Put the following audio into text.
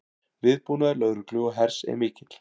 Viðbúnaður lögreglu og hers er mikill